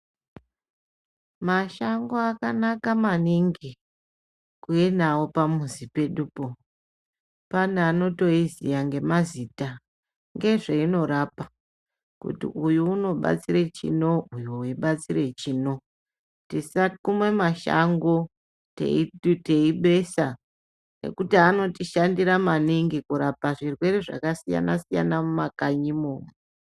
Mashango akanaka maningi, kuvenawo pamuzi pedupo. Paneanotoziya ngemazita nezvayinorapa kuti uyu unobatsira chino, uyu webatsira chino, tisakuma mashango tiyibesa ngekuti anotishandira maningi kurapa zvirwere zvakasiyana siyana mumakanyimo.